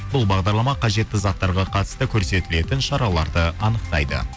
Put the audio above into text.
бұл бағдарлама қажетті заттарға қатысты көрсетілетін шараларды анықтайды